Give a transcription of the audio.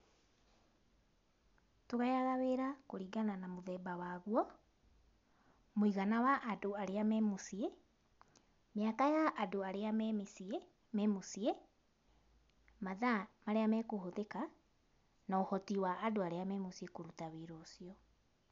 Tũgayaga wĩra kũringana na mũthemba waguo, mũigana wa andũ arĩa me mũciĩ, mĩaka ya andũ arĩa me mĩciĩ, me mũciĩ, mathaa arĩa mekũhũthĩka, na ũhoti wa andũ arĩa me mũciĩ kũruta wĩra ũcio.